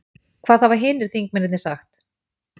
Hvaða hafa hinir þingmennirnir sagt?